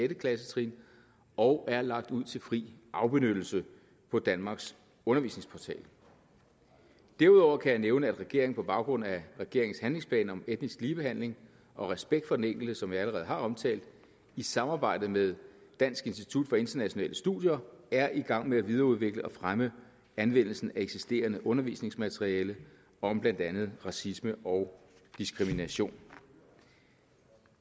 klassetrin og er lagt ud til fri afbenyttelse på danmarks undervisningsportal derudover kan jeg nævne at regeringen på baggrund af regeringens handlingsplan om etnisk ligebehandling og respekt for den enkelte som jeg allerede har omtalt i samarbejde med dansk institut for internationale studier er i gang med at videreudvikle og fremme anvendelsen af eksisterende undervisningsmaterialer om blandt andet racisme og diskrimination